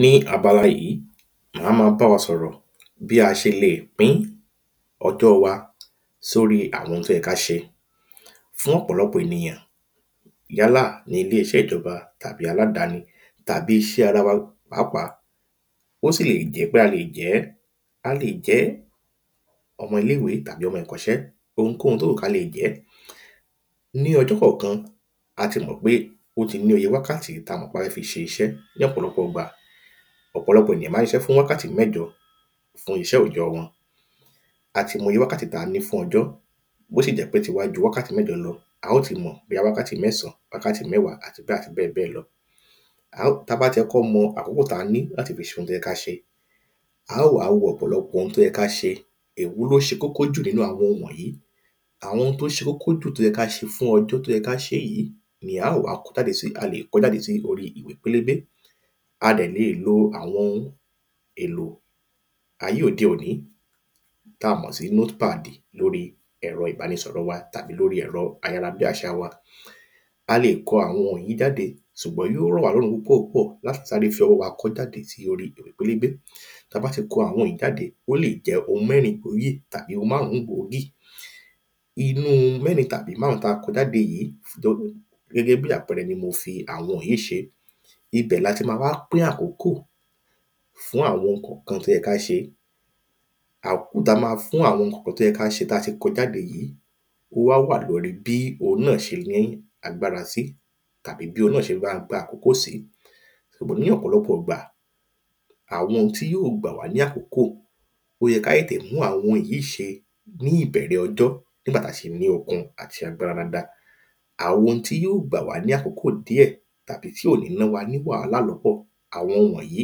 Ní abala yìí màá ma bá wa sọ̀rọ̀ bí a ṣe lè pín ọjọ́ wa sóri àwọn oun tí ó yẹ kí a ṣe Fún ọ̀pọ̀lọpọ̀ ènìyàn yálà ní ile iṣẹ́ ìjọba tàbí aládani tàbí iṣẹ́ ara wa pàápàá ó sì lè jẹ́ pé a lè jẹ́ a lè jẹ́ ọmọ ilé ìwé àbí ọmọ ìkọ́ṣẹ́ ounkóun tó wùn kí a lè jẹ́ Ní ọjọ́ kọ̀ọ̀kan a tí mọ̀ pé ó tí ní iye wákàtí tí a mọ̀ pé a fẹ́ fi ṣe iṣẹ́ ní ọ̀pọ̀lọpọ̀ ìgbà Ọ̀pọ̀lọpọ̀ ènìyàn máa ń ṣiṣe fún wákàtí mẹ́jọ fún iṣẹ́ òòjọ́ wọn A tí mọ iye wákàtí tí a ní fún ọjọ́ bí ó sì jẹ́ pé tiwa ju wákàtí mẹ́jọ lọ a óò tí mọ̀ bóyá wákàtí mẹ́sàn wákàtí mẹ́wàá àti bẹ́ẹ̀ àti bẹ́ẹ̀bẹ́ẹ̀ lọ A óò tí a bá tí kọ́kọ́ mọ àkókò tí a ní láti fi ṣe oun tí ó yẹ kí a ṣe a óò wá wo ọ̀pọ̀lọpọ̀ oun tí ó yẹ kí a ṣe Èwo ni ó ṣe kókó jù nínú àwọn wọ̀nyìí Àwọn oun tí ó ṣe kókó jù tí ó yẹ kí a ṣe fún ọjọ́ tí ó yẹ kí a ṣe yìí ni a óò wá kọ jáde sí a lè kọ́ jáde sí orí ìwé pélébé A dẹ̀ lè lo àwọn èlò ayé òde ònìí tí a mọ̀ sí notepad lórí ẹ̀rọ ìbánisọ̀rọ̀ wa tàbí lórí ẹ̀rọ ayárabíàṣá wa A lè lo àwọn wọ̀nyìí jáde ṣùgbọ́n yóò rọ̀wálọ́rùn púpọ̀ púpọ̀ láti sáré fi ọwọ́ wa kọ ọ́ já sí orí ìwé pélébé Tí a bá tí kọ àwọn yìí jáde ó lè jẹ́ oun mẹ́rin gbòógì tàbí oun márùn gbòógì Inú mẹ́rin tàbí márùn tí a kọ jáde gẹ́gẹ́ bíi àpẹẹrẹ ni mo fi àwọn yìí ṣe ibẹ̀ ni a ti ma wá pín àkókò fún àwọn oun kọ̀ọ̀kan tí ó yẹ kí a ṣe Àkókò tí a ma fún àwọn kọ̀ọ̀kan tí ó yẹ kí a ṣe tí a ti kọ jáde ó wá wà ní orí bí oun náà ṣe ní agbára sí tàbí bí oun náà ṣe máa gba àkókò sí Ṣùgbọ́n ní ọ̀pọ̀lọpọ̀ ìgbà àwọn tí yóò gbà wá ní àkókò ó yẹ kí a tètè mú àwọn yìí ṣe ní ìbẹ̀rẹ̀ ọjọ́ ní ìgbà tí a ṣì ní okun àti agbára dáadáa Àwọn tí yóò gbà wá ní àkókò díẹ̀ tàbí tí ò ni ná wa ní wàhálà lọ́pọ̀ àwọn wọ̀nyìí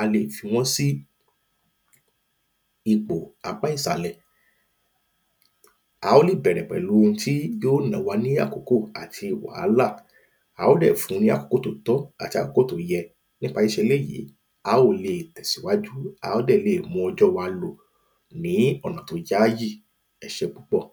a lè fi wọ́n sí ipò apá ìsàlẹ̀ A óò lè bẹ̀rẹ̀ pẹ̀lú oun tí yóò ná wa ní àkókò àti wàhálà A óò dẹ̀ fun ní àkókò tí ó tó àti àkókò tí ó yẹ Nípa ṣíṣe eléyì a óò lè tẹsíwájú a óò dẹ̀ lè mú ọjọ́ wa lò ní ọ̀nà tí ó yááyì Ẹ ṣé púpọ̀